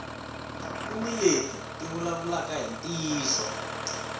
kuni leti ti vulavulaka hi ntiyiso